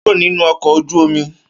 Kúrò nínú ọkọ̀ ojú omi!